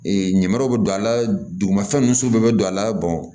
ɲamaraw bɛ don a la dugumafɛn nunsu bɛ don a la